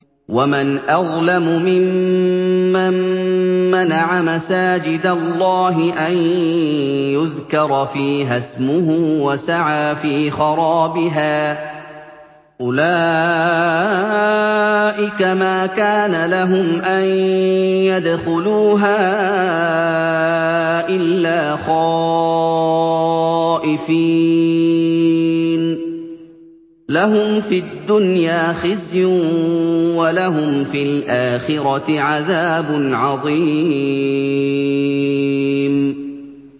وَمَنْ أَظْلَمُ مِمَّن مَّنَعَ مَسَاجِدَ اللَّهِ أَن يُذْكَرَ فِيهَا اسْمُهُ وَسَعَىٰ فِي خَرَابِهَا ۚ أُولَٰئِكَ مَا كَانَ لَهُمْ أَن يَدْخُلُوهَا إِلَّا خَائِفِينَ ۚ لَهُمْ فِي الدُّنْيَا خِزْيٌ وَلَهُمْ فِي الْآخِرَةِ عَذَابٌ عَظِيمٌ